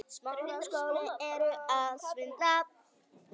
Þetta byrjaði vel.